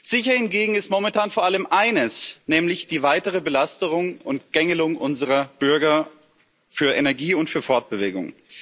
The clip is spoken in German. Sicher hingegen ist momentan vor allem eines, nämlich die weitere Belastung und Gängelung unserer Bürger für Energie und für Fortbewegung.